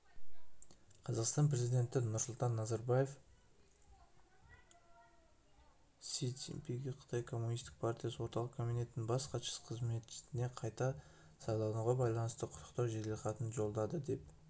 қазақстан президенті нұрсұлтан назарбаев си цзиньпинге қытай коммунистік партиясы орталық комитетінің бас хатшысы қызметіне қайта сайлануына байланысты құттықтау жеделхатын жолдады деп